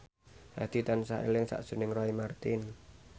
Hadi tansah eling sakjroning Roy Marten